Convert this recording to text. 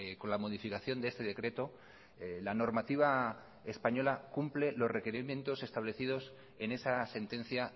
con la modificación de este decreto la normativa española cumple los requerimientos establecidos en esa sentencia